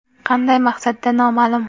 Qanday maqsadda noma’lum.